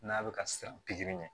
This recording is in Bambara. N'a bɛ ka siran pikiri ɲɛ